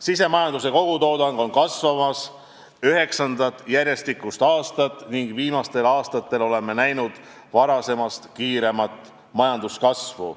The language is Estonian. Sisemajanduse kogutoodang kasvab üheksandat järjestikust aastat ning viimastel aastatel oleme näinud varasemast kiiremat majanduskasvu.